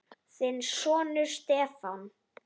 Þinn sonur, Stefán.